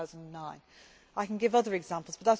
2009. I can give other examples